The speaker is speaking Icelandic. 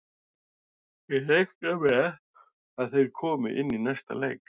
Ég reikna með að þeir komi inn í næsta leik.